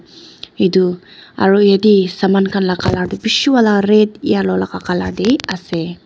edu aru yatae saman khan la colour tu bishi wala red yellow laka cala tae ase.